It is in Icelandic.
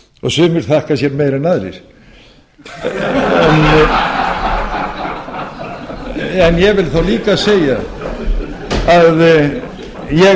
og sumir þakka sér meira en aðrir ég vil þá líka segja að ég